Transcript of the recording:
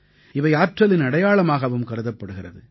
இவை ஆற்றலின் அடையாளமாகவும் கருதப்படுகிறது